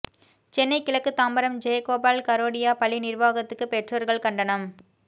சென்னை கிழக்கு தாம்பரம் ஜெயகோபால் கரோடியா பள்ளி நிர்வாகத்துக்கு பெற்றோர்கள் கண்டனம்